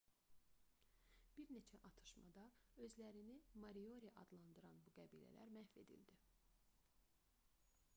bir neçə atışmada özlərini moriori adlandıran bu qəbilələr məhv edildi